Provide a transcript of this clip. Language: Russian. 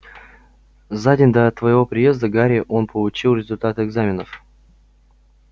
за день до твоего приезда гарри он получил результаты экзаменов